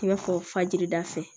I n'a fɔ fajiri da fɛ